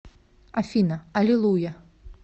афина аллилуйя